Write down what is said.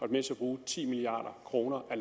med til at bruge ti milliard kroner af